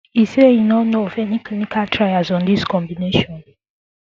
e say e no know of any clinical trials on dis combination